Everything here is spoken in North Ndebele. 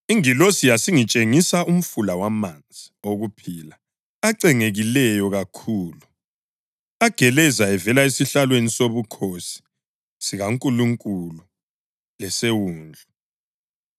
Ingilosi yasingitshengisa umfula wamanzi okuphila acengekileyo kakhulu egeleza evela esihlalweni sobukhosi sikaNkulunkulu leseWundlu